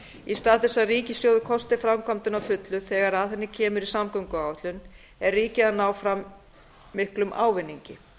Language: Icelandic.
í stað þess að ríkissjóður kosti framkvæmdina að fullu þegar að henni kemur í samgönguáætlun er ríkið að ná fram miklum ávinningi